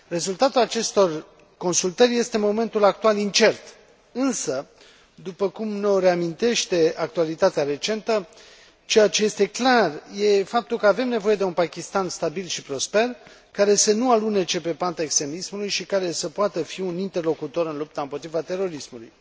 Rezultatul acestor consultări este în momentul actual incert, însă, după cum ne o reamintește actualitatea recentă, ceea ce este clar este faptul că avem nevoie de un Pakistan stabil și prosper, care să nu alunece pe panta extremismului și care să poată fi un interlocutor în lupta împotriva terorismului.